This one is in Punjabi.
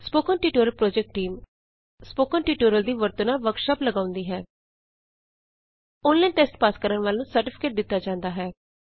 spoken tutorial project team spoken tutorial ਦੀ ਵਰਤੋਂ ਨਾਲ ਵਰਕਸ਼ਾਪ ਲਗਾਉਂਦੀ ਹੈ ਔਨਲਾਈਨ ਟੈਸਟ ਪਾਸ ਕਰਨ ਵਾਲਿਆਂ ਨੂੰ ਸਰਟੀਫਿਕੇਟ ਦਿਤਾ ਜਾਂਦਾ ਹੈ